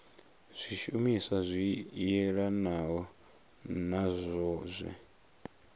zwishumiswa zwi yelanaho nazwo zwe